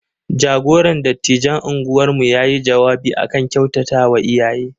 Jagoran dattijan unguwarmu ya yi jawabi a kan kyautatawa iyaye.